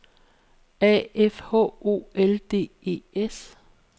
A F H O L D E S